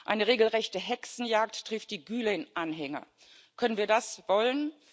Eine regelrechte Hexenjagd trifft die Gülen-Anhänger. Können wir das wollen?